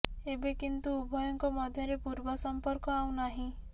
ଏବେ କିନ୍ତୁ ଉଭୟଙ୍କ ମଧ୍ୟରେ ପୂର୍ବ ସମ୍ପର୍କ ଆଉ ନାହିଁ